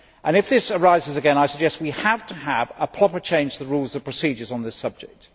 If this arises again, I suggest we have to have a proper change to the Rules of Procedure on this subject.